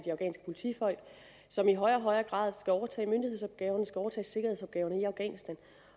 afghanske politifolk som i højere og højere grad skal overtage myndighedsopgaven og skal overtage sikkerhedsopgaverne i afghanistan